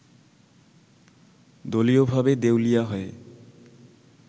দলীয়ভাবে দেউলিয়া হয়ে